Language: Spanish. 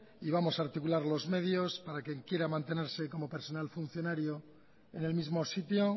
y vamos a articular los medios para quien quiera mantenerse como personal funcionario en el mismo sitio